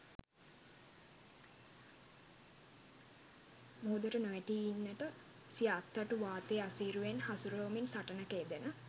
මුහුදට නොවැටී ඉන්නට සිය අත්තටු වාතයේ අසීරුවෙන් හසුරුවමින් සටනක යෙදෙන